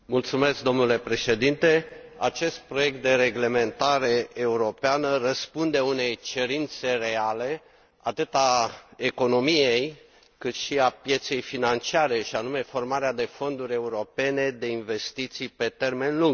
Domnule Președinte, acest proiect de reglementare europeană răspunde unei cerințe reale, atât a economiei, cât și a pieței financiare, și anume formarea de fonduri europene de investiții pe termen lung.